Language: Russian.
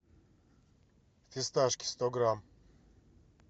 фисташки сто грамм